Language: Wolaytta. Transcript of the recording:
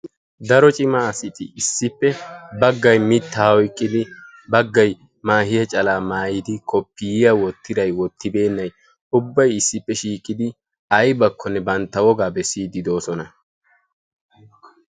daro cimma assati issipe bagay mittaa oyqidi bagayi mahiyaa calaa maayidi bantta biittaa wogaa bessidi doosona.